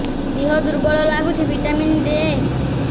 ଦିହ ଦୁର୍ବଳ ଲାଗୁଛି ଭିଟାମିନ ଦେ